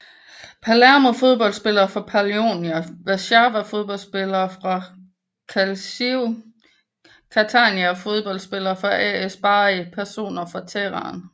Palermo Fodboldspillere fra Polonia Warszawa Fodboldspillere fra Calcio Catania Fodboldspillere fra AS Bari Personer fra Tirana